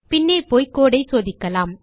பின்னே போய் கோடு ஐ சோதிக்கலாம்